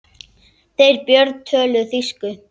Þeir Björn töluðu þýsku.